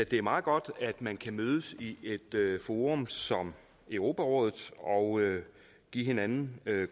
det er meget godt at man kan mødes i et forum som europarådet og give hinanden